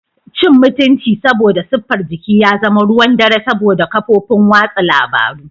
Cin mutunci saboda siffar jiki ya zama ruwan dare saboda kafofin watsa labaru.